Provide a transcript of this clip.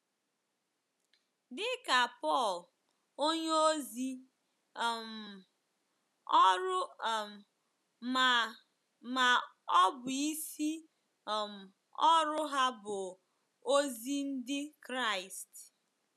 Dị ka Pọl onyeozi, um ọrụ um ma, ma ọ bụ isi um ọrụ ha, bụ ozi ndị Kraịst.